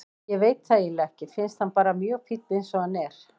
Ég veit það eiginlega ekki, finnst hann bara mjög fínn eins og hann er.